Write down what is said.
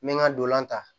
N bɛ n ka ndolan ta